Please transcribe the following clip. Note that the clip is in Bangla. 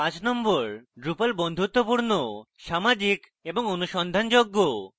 number 5: drupal বন্ধুত্বপূর্ণ সামাজিক এবং অনুসন্ধানযোগ্য